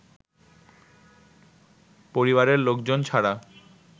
পরিবারের লোকজন ছাড়া